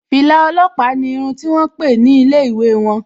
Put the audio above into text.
Fìlà ọlọ́pàá ni irun ti wón pè ní ilé ìwé won